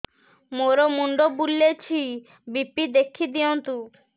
ମୋର ମୁଣ୍ଡ ବୁଲେଛି ବି.ପି ଦେଖି ଦିଅନ୍ତୁ